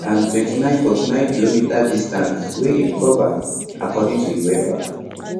and 2949km distance wia im cover according to uefa